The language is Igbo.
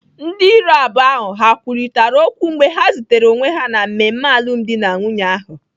Ndị iro abụọ ha kwurịta okwu mgbe ha zutere onwe ha na mmemme alụmdi na nwunye ahụ?